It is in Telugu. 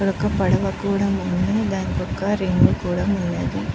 ఇక్కడ ఒక్క పడవ కూడా ఉంది రింగులు కూడా ఉన్నాయి.